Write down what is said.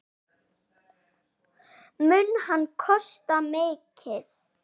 Mun hann kosta mikið?